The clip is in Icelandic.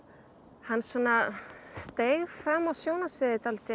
hann svona steig fram á sjónarsviðið